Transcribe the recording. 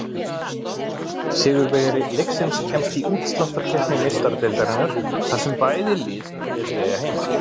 Sigurvegari leiksins kemst í útsláttarkeppni Meistaradeildarinnar, þar sem bæði lið telja sig eiga heima.